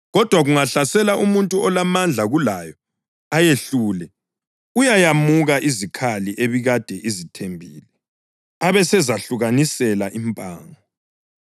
Kodwa kungahlasela umuntu olamandla kulayo ayehlule, uyayemuka izikhali ebikade izithembile, abesezehlukanisela impango.